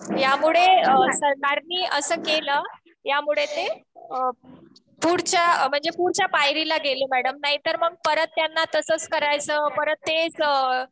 त्यामुळे सरकारनी असं केलं. यामुळे ते पुढच्या म्हणजे पुढच्या पायरीला गेले मॅडम. नाहीतर मग परत त्यांना तसंच करायचं परत तेच